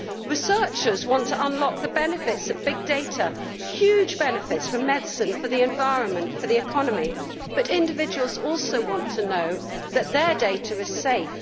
Researchers want to unlock the benefits of big data huge benefits for medicine, for the environment, for the economy but individuals also want to know that their data is safe.